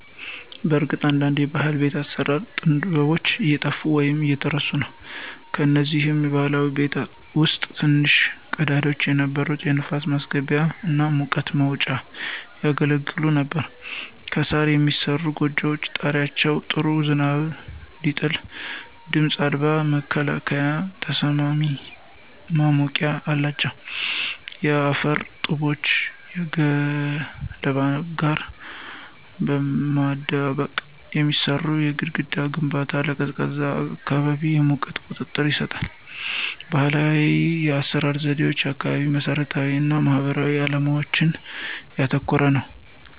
በእርግጥ አንዳንድ ባህላዊ የቤት አሰራር ጥበቦች እየጠፉ ወይም እየተረሱ ነው። ከነዚህም ባህላዊ ቤቶች ውስጥ ትንንሽ ቀዳዳዎች የነበሩ የንፋስ ማስገቢያ እና የሙቀት መውጫ ያገለግሉ ነበር። ከሣር የሚሠሩት ጎጆዎች ጣሪያዎች ጥሩ ዝናብ ሲጥል ድምፅ አልባ መከላከያና ተስማሚ ማሞቂያ አላቸው። የአፈር ጡቦችን ከገለባ ጋር በማደባለቅ የሚሠራው የግድግዳ ግንባታ ለቀዝቃዛ አካባቢ የሙቀት ቁጥጥር ይሰጣል። ባህላዊ የአሰራር ዘዴዎች አካባቢያዊ መሰረታዊነት እና ማህበራዊ ዓላማዎችን ያተኮረ ነበር።